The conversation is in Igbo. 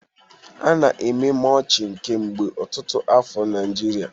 A na-eme Mulching kemgbe ọtụtụ afọ na Nigeria